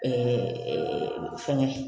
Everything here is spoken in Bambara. fɛngɛ